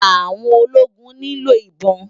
Áwòn ólógún ni ló ibòn